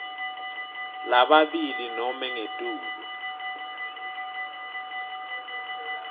lababili nobe ngetulu